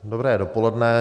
Dobré dopoledne.